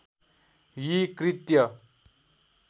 यी कृत्य